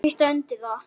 Ég kvitta undir það.